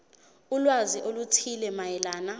ulwazi oluthile mayelana